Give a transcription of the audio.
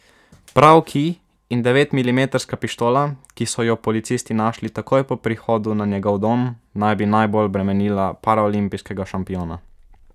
Prav kij in devetmilimetrska pištola, ki so jo policisti našli takoj po prihodu na njegov dom, naj bi najbolj bremenila paraolimpijskega šampiona.